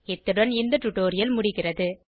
இத்துடன் இந்த டுடோரியல் முடிகிறது